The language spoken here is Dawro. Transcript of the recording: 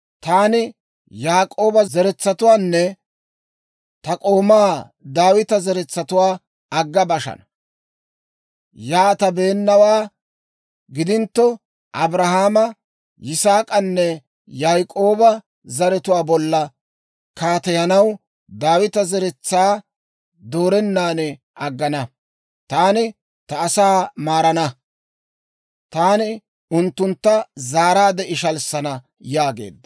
taani Yaak'ooba zeretsatuwaanne ta k'oomaa Daawita zeretsatuwaa agga bashana; yaatabeennawaa gidintto, Abrahaama, Yisaak'anne Yaak'ooba zaratuwaa bolla kaateyanaw Daawita zeretsaa doorennan aggana. Taani ta asaa maarana; taani unttuntta zaaraadde ishalissana» yaageedda.